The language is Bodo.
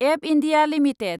एब इन्डिया लिमिटेड